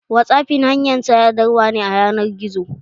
Whatsappinb hanyar sadarwa ne a ƴanar gizo.